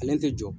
Ale tɛ jɔ